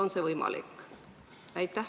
On see võimalik?